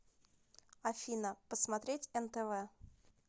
афина посмотреть нтв